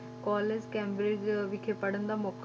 College Cambridge ਵਿਖੇ ਪੜ੍ਹਨ ਦਾ ਮੌਕਾ